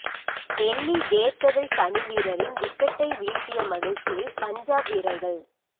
Delhi Daredevils அணி வீரரின் விக்கெட்டை வீழ்த்திய மகிழ்ச்சியில் பஞ்சாப் வீரர்கள்